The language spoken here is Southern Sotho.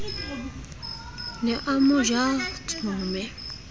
ne a mo ja tsome